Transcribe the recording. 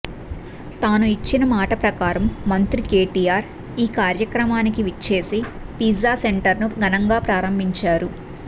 తాను ఇచ్చిన మాట ప్రకారం మంత్రి కేటీఆర్ ఈ కార్యక్రమానికి విచ్చేసి పిజ్జా సెంటర్ను ఘనంగా ప్రారంభించారు